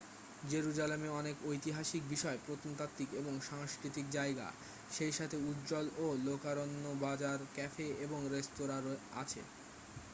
জেরুজালেমে অনেক ঐতিহাসিক বিষয় প্রত্নতাত্ত্বিক এবং সাংস্কৃতিক জায়গা সেই সাথে উজ্জ্বল ও লোকারণ্য বাজার ক্যাফে এবং রেস্তোরাঁ আছে